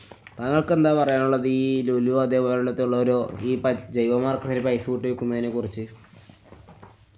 താങ്കള്‍ക്കെന്താ പറയാനുള്ളീ ഈ ലുലു അതേപോലെത്തുള്ള ഒരു ഈ പ~ ജൈവവളം ആക്കുന്നെനു പൈസ കൂട്ടി വിക്കുന്നേനെ കുറിച്ച്